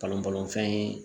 Balon balon fɛn ye